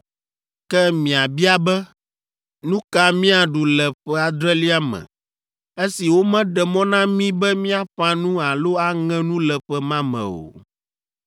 Ke miabia be, “Nu ka míaɖu le ƒe adrelia me esi womeɖe mɔ na mí be míaƒã nu alo aŋe nu le ƒe ma me o?”